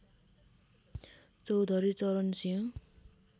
Chaudhary Charan Singh